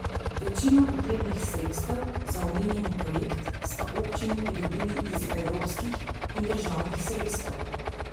Večino potrebnih sredstev za omenjeni projekt sta občini pridobili iz evropskih in državnih sredstev.